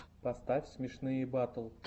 поставь смешные батл